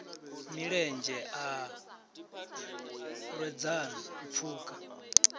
milenzhe a lwedzana u pfuka